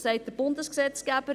Das sagt der Bundesgesetzgeber: